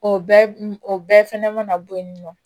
O bɛɛ o bɛɛ fɛnɛ mana bɔ yen nɔ